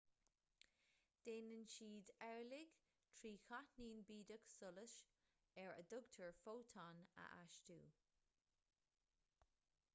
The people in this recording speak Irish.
déanann siad amhlaidh trí cháithnín bídeach solais ar a dtugtar fótón a astú